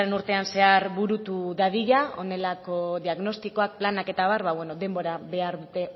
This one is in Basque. urtean zehar burutu dadila honelako diagnostikoa planak eta abar denbora behar dute